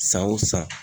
San o san